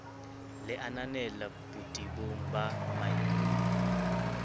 le ananela botebong ba maikut